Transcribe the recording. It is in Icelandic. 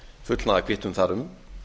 fullnaðarkvittun þar um